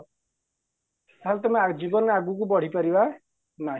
ତାହାଲେ ତମେ ଜୀବନରେ ଆଗକୁ ବଢ଼ିପାରିବା ନାହିଁ